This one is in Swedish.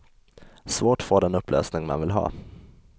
Svårt få den upplösning man vill ha.